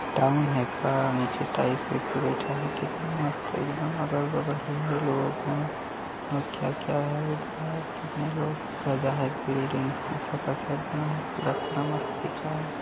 Town हैं का नीचे टाइस वाइस बैठा हैं कितना मस्त एकदम अगल बगल भी हैं लोग हैं और क्या क्या हैं इधर कितने लोग सजाए बिल्डिंग शीशा कस सेट बना हैं पूरा पूरा मस्त दिख रहा है।